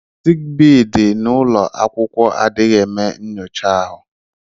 Sik bee dị n'ụlọ akwụkwọ adịghị eme nnyocha ahụ.